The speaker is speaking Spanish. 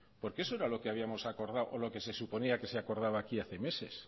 porque eso era lo que habíamos acordado o lo que se suponía que se acordaba aquí hace meses